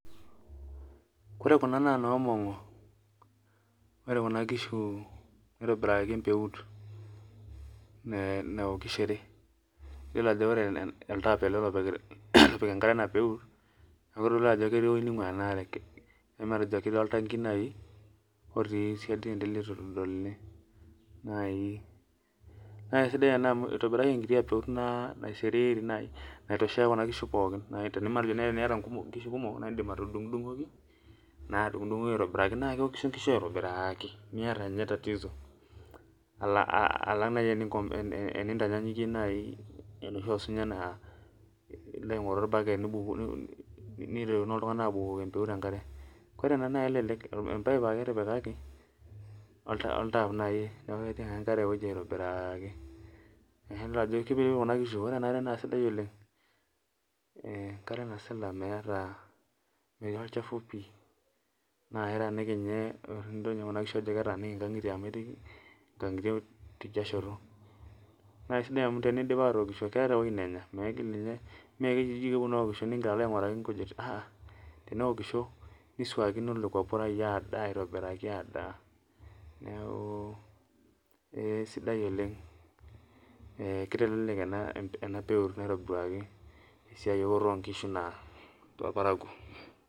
Ore kuna na nomongi ore kuna kishu nitobiraki empeut naokishore iyolo ajo ore oltap egirai apik enkare enapeut neaku kelio ajo ketii ewoi naingua enaare neaku matejo nai ketii oltangi nai otii siadi lituitodoluni naibna kesidai ena amu itobiraki enkiti peut naisiriri naitoshea kuna kishu pookin matejo nai teniata nkishu kumok na indim atundungoki naa adungdungo aitobiraki na keokishu nkishu aitobiraki alang nai enintanyanyikie nai enoshi osunya na ilo adumu orbaket nirettonoboltunganak apik empeut enkare ,empaip ake etudumwaki oltap naibneaku ketii ake enkare aitobiraki. Na sidai oleng enkare nasila metii olchafu pii na ketaaniki nkangitie amu ketii nkaningitie tidialo nakesidia amu teneidip atookisho keeta ewoi nanya mekeponu aokisho nilo ainguraki nkujit. ahaha teneokisho niswakino lekwa purai adaa neaku esidai oleng kitelelek enapeut naitobirakii esiaia eokoto onkishu tenewueji.